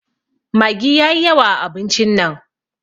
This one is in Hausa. Maggi yayi yawa a abincin nan.